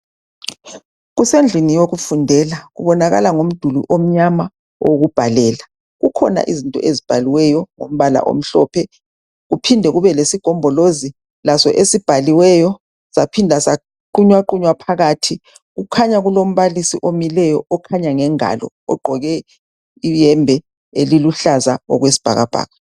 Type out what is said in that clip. Kusendlini yokufundela, kubonakala ngomduli omnyama owokubhalela. Kukhona izinto ezibhaliweyo ngombala omhlophe kuphinde kumbe lesigombolozi laso esibhaliweyo saphinda saqunywaqunywa phakathi. Kukhanya kulombalisi omileyo okhanya ngengalo ogqoke iyembe eliluhlaza okwesibhakabhaka.